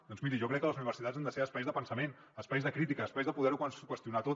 doncs miri jo crec que les universitats han de ser espais de pensament espais de crítica espais de poder ho qüestionar tot